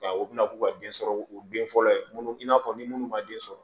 Nka u bɛna k'u ka den sɔrɔ u den fɔlɔ ye minnu i n'a fɔ ni minnu ma den sɔrɔ